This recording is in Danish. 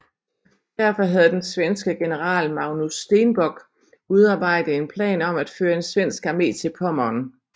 Derfor havde den svenske general Magnus Stenbock udarbejdet en plan om at føre en svensk armé til Pommern